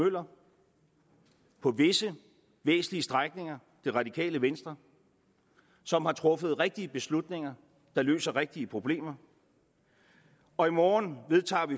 møller på visse væsentlige strækninger det radikale venstre som har truffet rigtige beslutninger der løser rigtige problemer og i morgen vedtager